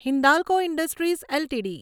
Hindalco industries LTD